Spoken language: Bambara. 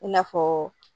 I n'a fɔ